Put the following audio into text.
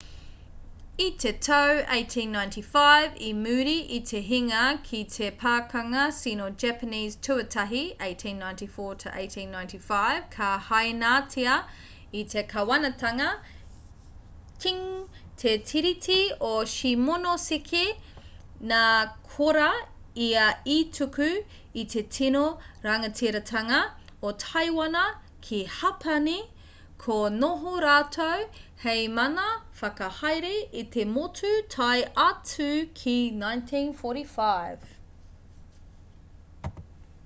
i te tau 1895 i muri i te hinga ki te pakanga sino-japanese tuatahi 1894-1895 ka hainatia e te kāwanatanga qing te tiriti o shimonoseki nā korā ia i tuku i te tino rangatiratanga o taiwana ki hapani ka noho rātou hei mana whakahaere i te motu tae atu ki 1945